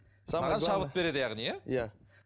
саған шабыт береді яғни иә иә